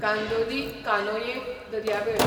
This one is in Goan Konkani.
कांदोली, कानोये दर्यावेळ